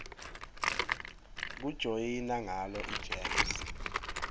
kujoyina ngalo igems